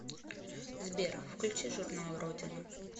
сбер включи журнал родина